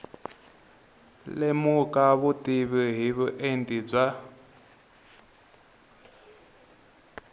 lemuka vutivi hi vuenti bya